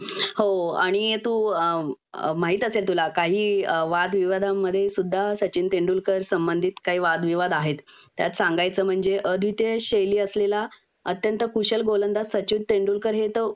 हो आणि तू अ माहित असेल तुला काही वादविवादांमध्ये सुद्धा सचिन तेंडुलकर संबंधित काही वादविवाद आहेत त्यात सांगायचं म्हणजे अद्वितीय शैली असलेला अत्यंत कुशल गोलंदाज सचिन तेंडुलकर हे तर